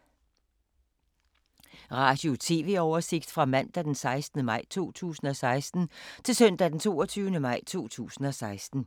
Radio/TV oversigt fra mandag d. 16. maj 2016 til søndag d. 22. maj 2016